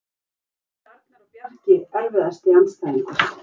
Bræður mínir Arnar og Bjarki Erfiðasti andstæðingur?